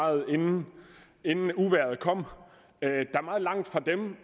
inden uvejret kom